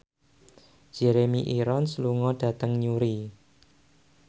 Jeremy Irons lunga dhateng Newry